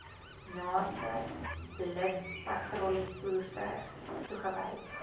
naaste blitspatrollievoertuig toegewys